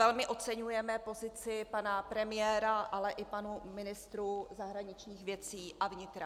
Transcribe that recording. Velmi oceňujeme pozici pana premiéra, ale i pánů ministrů zahraničních věcí a vnitra.